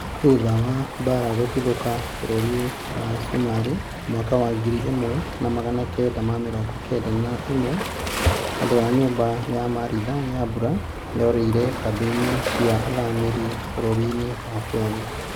thutha wa mbara gũtuthũka bũrũri wa sumarĩ mwaka wa ngiri ĩmwe na magana kenda ma mĩrongo kenda na ĩmwe famĩrĩ ya martha nyambura yorĩire kambi-ini cia athami bũrũri-inĩ wa Kenya